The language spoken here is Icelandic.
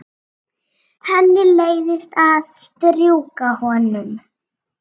Henni leiðist að strjúka honum.